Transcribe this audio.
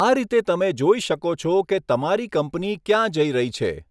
આ રીતે તમે જોઈ શકો છો કે તમારી કંપની ક્યાં જઈ રહી છે.